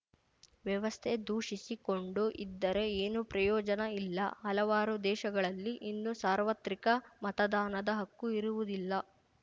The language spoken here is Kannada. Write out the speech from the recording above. ವ್ಯವಸ್ಥೆ ದೂಷಿಸಿ ಕೊಂಡು ಇದ್ದರೆ ಏನೂ ಪ್ರಯೋಜನ ಇಲ್ಲ ಹಲವಾರು ದೇಶಗಳಲ್ಲಿ ಇನ್ನೂ ಸಾರ್ವತ್ರಿಕ ಮತದಾನದ ಹಕ್ಕು ಇರುವುದಿಲ್ಲ